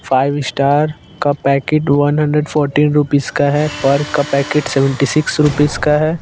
Five star का packet one hundred fourteen rupees का है पर्क का पैकेट सेवन्टी सिक्स रूपिज का है।